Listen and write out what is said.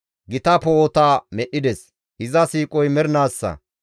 Gita poo7ota medhdhides; iza siiqoy mernaassa.